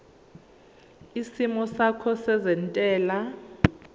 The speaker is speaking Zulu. isimo sakho sezentela